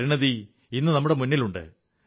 പരിണതി ഇന്നു നമ്മുടെ മുന്നിലുണ്ട്